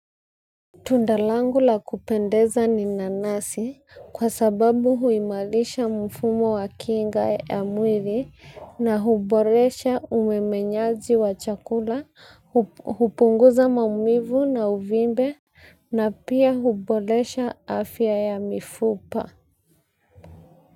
Tunda langu la kupendeza ni nanasi kwa sababu huimarisha mfumo wa kinga ya mwili na huboresha umemenyaji wa chakula, hupunguza maumivu na uvimbe na pia huboresha afya ya mifupa.